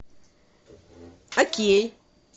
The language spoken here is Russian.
окей